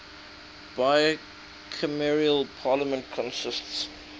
bicameral parliament consists